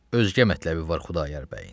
Özgə mətləbi var Xudayar bəyin.